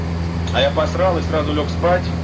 а я посрал и сразу лёг спать